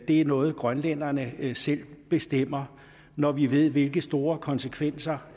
det er noget grønlænderne selv bestemmer når vi ved hvilke store konsekvenser